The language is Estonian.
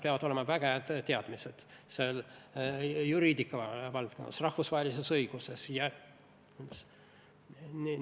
Peavad olema väga head teadmised juriidika valdkonnas, rahvusvahelises õiguses jne.